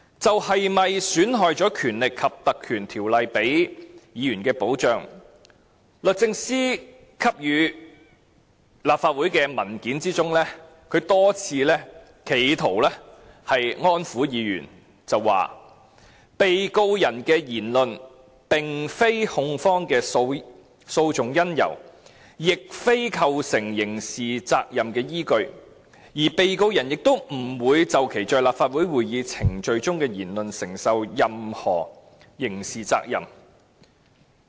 就着會否損害《立法會條例》給予議員的保障這點，律政司在給予立法會的文件中曾多次企圖安撫議員，指被告人的言論並非控方的訴訟因由，亦非構成刑事責任的依據，被告人亦不會就其在立法會會議程序中的言論承受任何刑事責任。